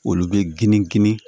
Olu bɛ gindo